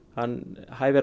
hann hæfir